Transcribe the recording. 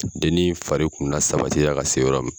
Dennin fari kun lasabatiya ka se yɔrɔ min